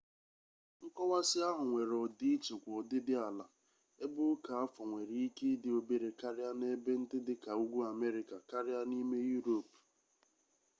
nkọwasị ahụ nwere ọdịiche kwa ọdịdị ala ebe oke afọ nwere ike ịdị obere karịa n'ebe ndị dị ka ugwu amerịka karịa n'ime yurop